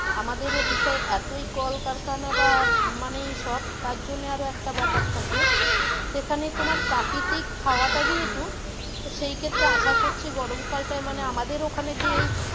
আমাদের ওদিকে এতই কলকারখানা বা মানে এইসব তারজন্যে একটা ব্যাপার থাকে সেখানে তোমার প্রাকৃতিক হাওয়া টা যেহেতু তো সেই ক্ষেত্রে আসা করছি গরম কাল টায় মানে আমাদের ওখানে যেই,